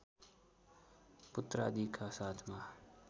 पुत्रादिका साथमा